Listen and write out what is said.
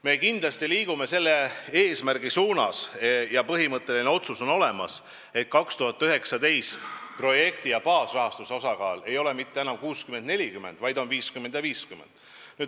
Me kindlasti liigume selle eesmärgi suunas ja on tehtud põhimõtteline otsus, et 2019. aastal projekti- ja baasrahastuse suhe ei ole mitte enam 60 : 40, vaid on 50 : 50.